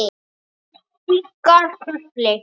Kinkar kolli.